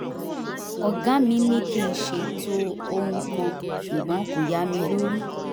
ọ̀gá mi ní kí n ṣètò ohun kan ṣùgbọ́n kò yá mi lórí